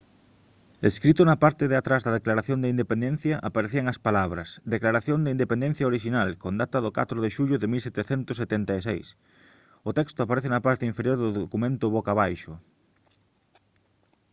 escrito na parte de atrás da declaración de independencia aparecían as palabras declaración de independencia orixinal con data do 4 de xullo de 1776 o texto aparece na parte inferior do documento boca abaixo